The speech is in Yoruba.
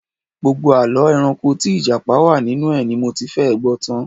Gbogbo àlọ́ ẹranko tí Ìjápa wà nínú ẹ̀ ni mo ti fẹ́ẹ̀ gbọ́ tan